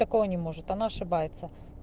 такого не может она ошибается